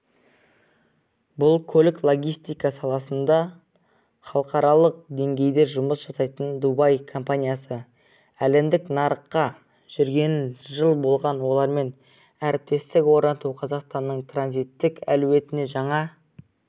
бұл көлік-логистика саласында халықаралық деңгейде жұмыс жасайтын дубай компаниясы әлемдік нарықта жүргеніне жыл болған олармен әріптестік орнату қазақстанның транзиттік әлеуетіне жаңа